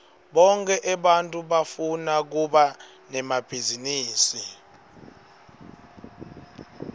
bonkhe ebantfu bafuna kuba nemabhizinisi